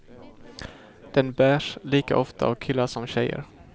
Den bärs lika ofta av killar som tjejer.